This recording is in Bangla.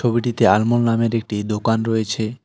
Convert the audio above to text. ছবিটিতে আনমোল নামের একটি দোকান রয়েছে।